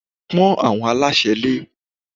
Pọ́n àwọn aláṣẹ lé!